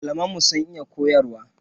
Malaman mu sun iya koyarwa.